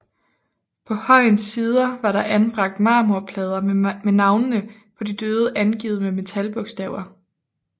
På højens sider var der anbragt marmorplader med navnene på de døde angivet med metalbogstaver